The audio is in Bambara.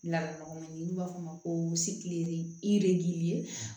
Ladamɔgɔ man di n'u b'a fɔ o ma ko